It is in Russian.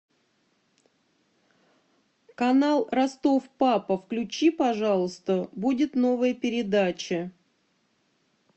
канал ростов папа включи пожалуйста будет новая передача